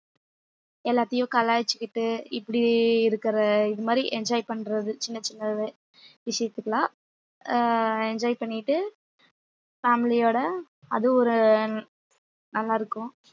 எல்லாத்தையும் கலாய்ச்சுக்கிட்டு இப்படி இருக்கிற இது மாதிரி enjoy பண்றது சின்னச் சின்ன வி~ விஷயத்துக்கெல்லாம் ஆஹ் enjoy பண்ணிட்டு family யோட அது ஒரு நல்லாருக்கும்